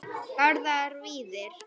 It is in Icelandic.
Garðar Víðir.